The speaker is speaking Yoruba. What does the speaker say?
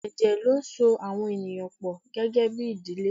Ẹ̀jẹ̀ ló ń so àwọn ènìyàn pọ gẹ́gẹ́bí ìdílé.